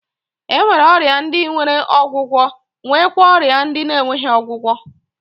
E nwere ọrịa ndi nwere ọgwụgwọ nwekwa ọrịa ndị na-enweghị ọgwụgwọ.